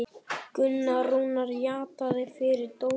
Gunnar Rúnar játaði fyrir dómi